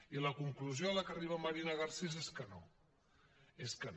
i la conclusió a la que arriba marina garcés és que no és que no